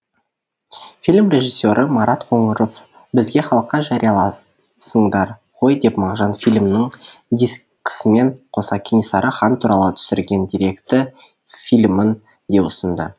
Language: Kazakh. фильм режиссері марат қоңыров бізге халыққа жариялайсыңдар ғой деп мағжан филімінің дискісімен қоса кенесары хан туралы түсірген деректі филімін де ұсынды